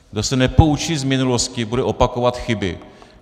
Kdo se nepoučí z minulosti, bude opakovat chyby.